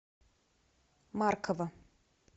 маркова